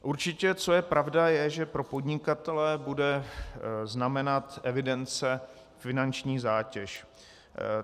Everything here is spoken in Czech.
Určitě co je pravda, je, že pro podnikatele bude znamenat evidence finanční zátěž.